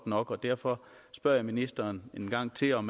nok og derfor spørger jeg ministeren en gang til om